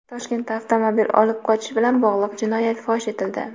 Toshkentda avtomobil olib qochish bilan bog‘liq jinoyat fosh etildi.